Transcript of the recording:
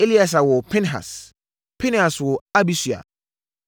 Eleasa woo Pinehas. Pinehas woo Abisua.